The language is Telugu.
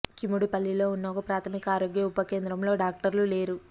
కిముడుపల్లిలో ఉన్న ఒక ప్రాథమిక ఆరోగ్య ఉప కేంద్రంలో డాక్టర్లు లేరు